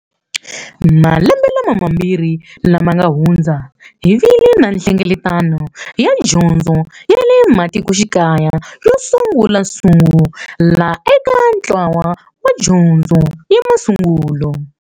Malembe mambiri lama nga hundza, hi vile na Nhlengeletano ya Dyondzo ya le Matikoxikaya yo sungulasungula eka ntlawa wa dyondzo ya masungulo.